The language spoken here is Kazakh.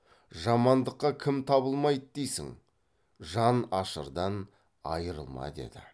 жамандыққа кім табылмайды дейсің жан ашырдан айрылма деді